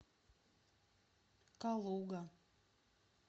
калуга